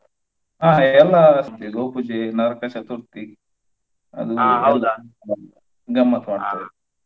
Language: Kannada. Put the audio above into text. ಅಹ್ ಎಲ್ಲಾ ಇದೆ ಗೋಪೂಜೆ ನರಕ ಚತುರ್ಥಿ ಗಮ್ಮತ್ತ್ ಮಾಡ್ತೇವೆ.